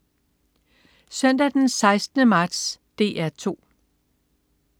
Søndag den 16. marts - DR 2: